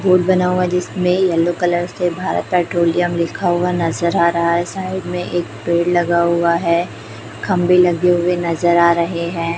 Board बना हुआ जिसमें येलो कलर से भारत पेट्रोलियम लिखा हुआ नजर आ रहा है साइड में एक पेड़ लगा हुआ है खंभे लगे हुए नजर आ रहे हैं।